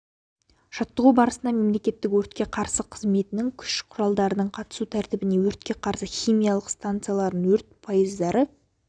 жаттығу барысында мемлекеттік өртке қарсы қызметінің күш құралдарының қатысу тәртібі өртке қарсы химиялық станцияларын өрт пойыздары